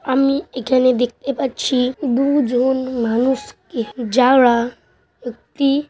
আমি এখানে দেখতে পাচ্ছি দুজন মানুষ-কে যারা একটি--